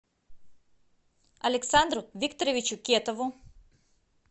александру викторовичу кетову